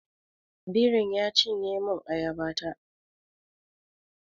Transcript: Birin ya cinye min ayaba ta